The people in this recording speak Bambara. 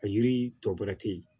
A yiri tɔ bɛrɛ te yen